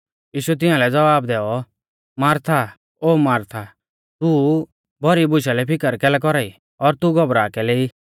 यीशुऐ तिंआलै ज़वाब दैऔ मारथा ओ मारथा तू भौरी बुशा लै फिकर कैलै कौरा ई और तू घबरा कैलै ई